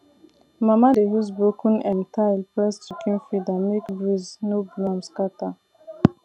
mama dey use broken um tile press chicken feeder make breeze no blow am scatter